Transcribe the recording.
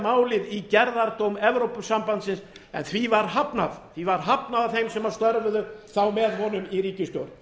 málið í gerðardóm evrópusambandsins en því var hafnað því var hafnað af þeim sem störfuðu þá með honum í ríkisstjórn